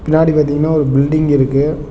பின்னாடி பாத்தீங்னா ஒரு பில்டிங் இருக்கு.